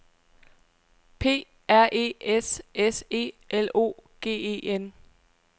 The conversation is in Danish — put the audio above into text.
P R E S S E L O G E N